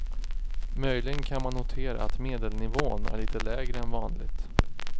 Möjligen kan man notera att medelnivån är lite lägre än vanligt.